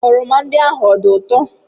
oroma ndị ahụ dị ụtọ?